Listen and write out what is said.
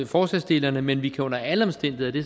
forslagsstillerne men vi kan under alle omstændigheder og det